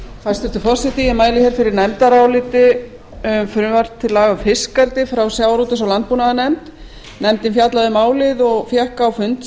hæstvirtur forseti ég mæli hér fyrir nefndaráliti um frumvarp til laga um fiskeldi frá sjávarútvegs og landbúnaðarnefnd nefndin fjallaði um málið og fékk á fund